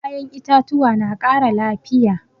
Kayan itatuwa na ƙara lafiya.